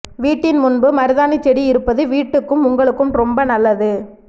வீட்டின் முன்பு மருதாணி செடி இருப்பது வீட்டுக்கும் உங்களுக்கும் ரொம்ப நல்லது